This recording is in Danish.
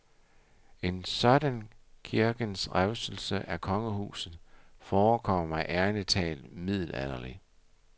En sådan kirkens revselse af kongehuset forekommer mig ærlig talt middelalderlig.